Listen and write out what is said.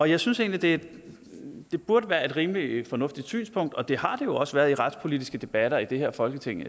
jeg synes egentlig at det burde være et rimelig fornuftigt synspunkt og det har det jo også været i de retspolitiske debatter i det her folketing